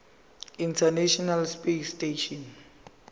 international space station